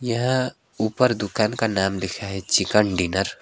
यहां ऊपर दुकान का नाम लिखा है चिकन डिनर --